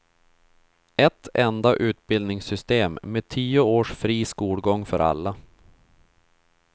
Ett enda utbildningssystem med tio års fri skolgång för alla.